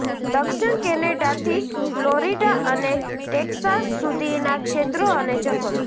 દક્ષિણ કેનેડાથી ફ્લોરિડા અને ટેક્સાસ સુધીના ક્ષેત્રો અને જંગલો